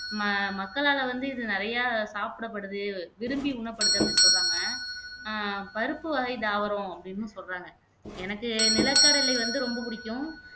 ம மக்களால வந்து இது நிறையா சாப்பிடப்படுது விரும்பி உண்ணப்படுது அப்படின்னு சொல்றாங்க அஹ் பருப்பு வகை தாவரம் அப்படின்னும் சொல்றாங்க எனக்கு நிலக்கடலை வந்து ரொம்ப புடிக்கும்